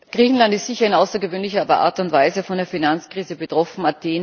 Griechenland ist sicherlich in außergewöhnlicher Art und Weise von der Finanzkrise betroffen.